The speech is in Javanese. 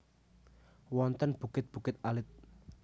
Wonten bukit bukit alit